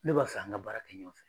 Ne b'a fɛ an ka baara kɛ ɲɔgɔn fɛ.